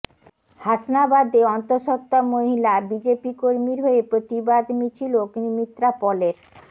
হাসনাবাদে অন্তঃসত্ত্বা মহিলা বিজেপি কর্মীর হয়ে প্রতিবাদ মিছিল অগ্নিমিত্রা পলের